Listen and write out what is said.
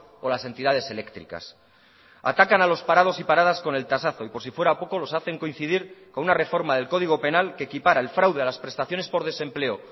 o las entidades eléctricas atacan a los parados y paradas con el tasazo y por si fuera poco los hacen coincidir con una reforma del código penal que equipara el fraude a las prestaciones por desempleo